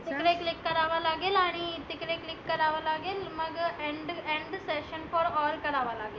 तीकडे click करावा लागेल आणि तिकडे click करावा लागेल. मग end end session for all करावा लागेल.